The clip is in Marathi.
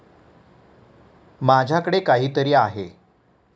माझ्याकडे काहीतरी आहे.